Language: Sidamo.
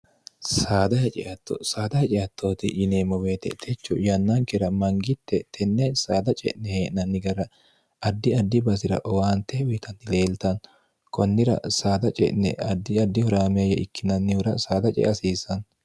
saada haceatto saada haceattooti yineemmo beetetechu yannankira mangitte tenne saada ce'ne hee'nanni gara addi addi basi'ra owaante wiitanni leeltannno kunnira saada ce'ne addi addi huraaamyayya ikkinannihura saada ce hasiisanno